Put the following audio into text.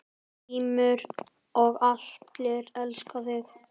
GRÍMUR: Og allir elska þig.